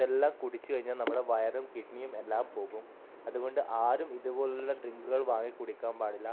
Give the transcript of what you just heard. എല്ലാം കുടിച്ചു കഴിഞ്ഞാൽ നമ്മുടെ വയറും കിഡ്നിയും എല്ലാം പോകും അതുകൊണ്ട് ആരും ഇതുപോലുള്ള ഡ്രിങ്കുകൾ വാങ്ങി കുടിക്കാൻ പാടില്ല.